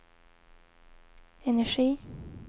energi